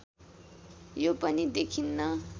यो पनि देखिन्न